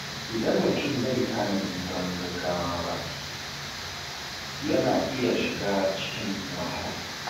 Idan mutum bai tanadi don gaggawa ba, yana iya shiga cikin wahala.